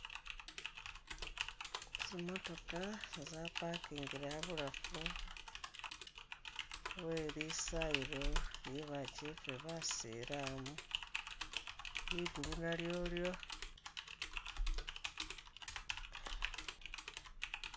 Zimotoka zaparkingile abulafu welisayilo lyebachefe basilamu, ligulu nalyolyo